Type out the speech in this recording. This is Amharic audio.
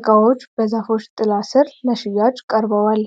እቃዎች በዛፎች ጥላ ስር ለሽያጭ ቀርበዋል።